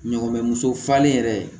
Ɲɔgɔnbɛ muso falen yɛrɛ